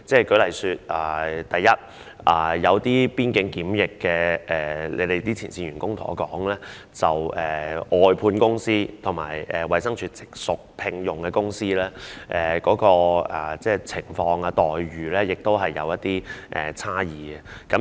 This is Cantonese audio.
舉例而言，有些負責邊境檢疫的前線員工告訴我，外判公司和直屬衞生署、由它聘用的公司的情況和待遇是有差異的。